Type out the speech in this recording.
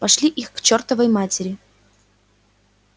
пошли их к чёртовой матери